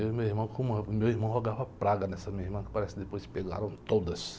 Eu e meu irmão, como, o meu irmão rogava praga nessa minha irmã, que parece que depois pegaram todas.